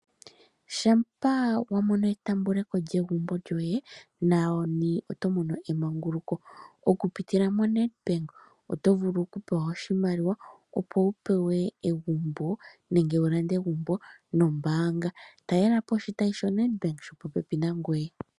Ngele wamono etaamboko lyegumbo lyoye nani oto mono emanguluko okupitila moNedBank oto vulu okupewa oshimaliwa opo wupewe egumbo nenge wulande egumbo nombaanga . Talelapo oshitayi shoNedbank shopopepi nangoye.